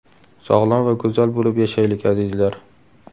Sog‘lom va go‘zal bo‘lib yashaylik, azizlar!